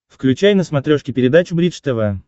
включай на смотрешке передачу бридж тв